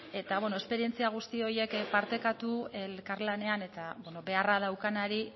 eta bueno esperientzia guzti horiek partekatu elkarlanean eta beharra daukanari